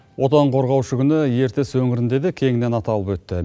отан қорғаушы күні ертіс өңірінде де кеңінен аталып өтті